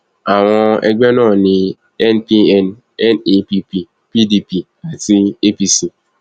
àwọn ẹgbẹ náà ní npn nepp pdp àti apc